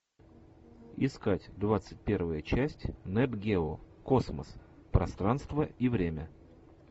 искать двадцать первая часть нат гео космос пространство и время